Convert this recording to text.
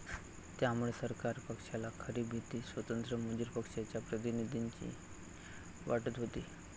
त्यामुळे सरकार पक्षाला खरी भीती स्वतंत्र मजूर पक्षाच्या प्रतिनिधींची वाटत होती